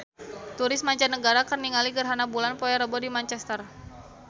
Turis mancanagara keur ningali gerhana bulan poe Rebo di Manchester